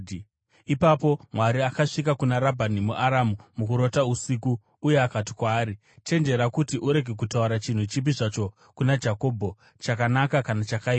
Ipapo Mwari akasvika kuna Rabhani muAramu mukurota usiku uye akati kwaari, “Chenjera kuti urege kutaura chinhu chipi zvacho kuna Jakobho, chakanaka kana chakaipa.”